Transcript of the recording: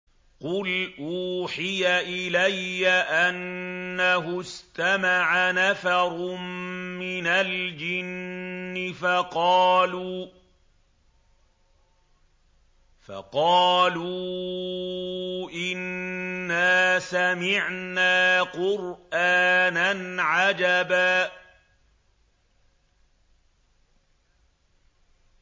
قُلْ أُوحِيَ إِلَيَّ أَنَّهُ اسْتَمَعَ نَفَرٌ مِّنَ الْجِنِّ فَقَالُوا إِنَّا سَمِعْنَا قُرْآنًا عَجَبًا